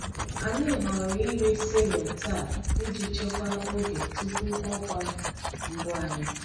Anyị họọrọ iri cereal taa iji chekwaa oge tupu ọkwa mbụ anyị.